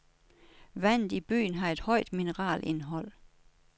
Vandet i byen har et højt mineralindhold.